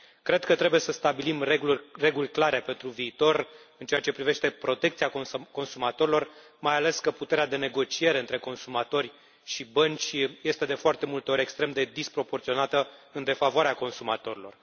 Cred că trebuie să stabilim reguli clare pentru viitor în ceea ce privește protecția consumatorilor, mai ales că puterea de negociere între consumatori și bănci este, de foarte multe ori, extrem de disproporționată, în defavoarea consumatorilor.